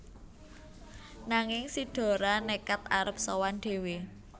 Nanging si Dora nékad arep sowan dhéwé